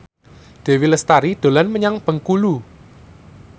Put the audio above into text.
Dewi Lestari dolan menyang Bengkulu